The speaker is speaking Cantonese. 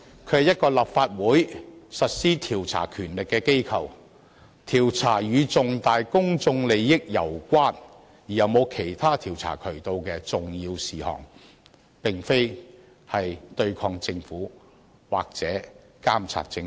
它是立法會行使調查權力的途徑，調查攸關重大公眾利益而又沒有其他調查渠道的重要事項，其功能並非對抗政府或監察政府。